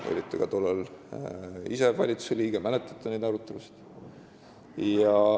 Te olite tollal ka ise valitsuse liige ja mäletate neid arutelusid.